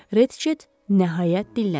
Retchett nəhayət dilləndi.